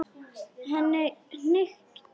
Henni hnykkti við.